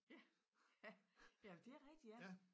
Ja ja jamen det rigtig ja